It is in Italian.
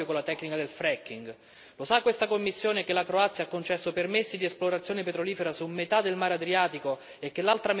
Lo sa questa Commissione che la Croazia ha concesso permessi di esplorazione petrolifera su metà del Mare Adriatico e che l'altra metà verrà estratta dall'Italia?